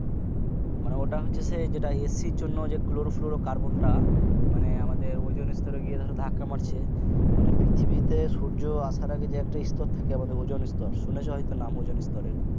মানে ওটা হচ্ছে AC জন্য ক্লোরো ফ্লরো কার্বোনটা মানে আমাদের ওজন স্তরে গিয়ে ধাক্কা মারছে মানে পৃথিবী তে সূর্য আসার আগে যে একটা স্তর থাকে মানে ওজোন স্তর শুনেছ হয়তো নাম ওজন স্তরের